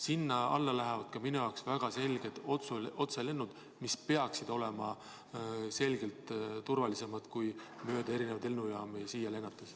Sinna alla lähevad minu jaoks väga selgelt ka otselennud, mis peaksid olema kindlasti turvalisemad kui mööda erinevaid lennujaamu siia lennates.